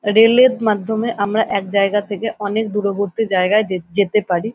Rail এর মাধ্যমে আমরা এক জায়গা থেকে অনেক দূরবর্তী জায়গায় যে যেতে পারি।